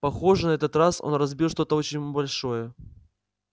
похоже этот раз он разбил что-то очень большое